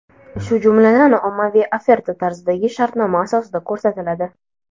shu jumladan ommaviy oferta tarzidagi shartnoma asosida ko‘rsatiladi.